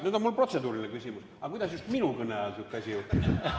Nüüd on mul protseduuriline küsimus: kuidas just minu kõne ajal sihuke asi juhtus?